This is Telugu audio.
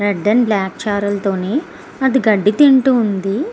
రెడ్ అండ్ బ్లాక్ ఛారల్ తోని అది గడ్డి తింటూ వుంది.